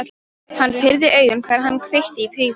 Hann pírði augun, þegar hann kveikti í pípunni.